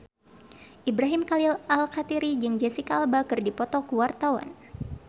Ibrahim Khalil Alkatiri jeung Jesicca Alba keur dipoto ku wartawan